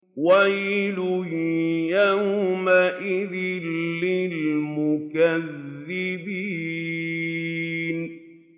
وَيْلٌ يَوْمَئِذٍ لِّلْمُكَذِّبِينَ